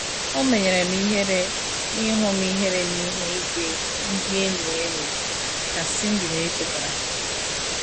“ O menyere m ihere n’ihu m ihere n’ihu ìgwè ndị enyi anyị, ” ka Cindy na - echeta.